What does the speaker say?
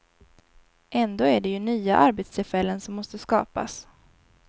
Ändå är det ju nya arbetstillfällen som måste skapas.